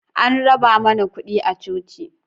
An raba mana kuɗi a coci